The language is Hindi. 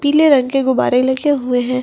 पीले रंग के गुब्बारे लगे हुए है।